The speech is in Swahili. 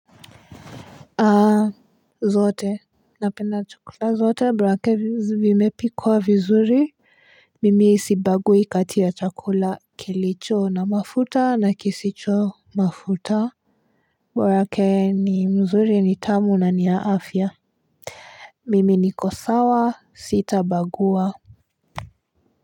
Aa zote. Napenda chakula zote bora vimepikwa vizuri. Mimi sibagui kati ya chakula kilicho na mafuta na kisicho mafuta. Borake ni mzuri ni tamu na niya afya. Mimi niko sawa sitabagua.